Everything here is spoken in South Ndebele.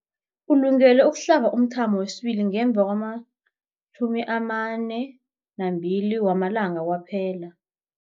Ulungele ukuhlaba umthamo wesibili ngemva kwama-42 wamalanga kwaphela.